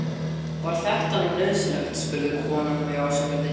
Var þetta nú nauðsynlegt? spurði konan mig ásakandi.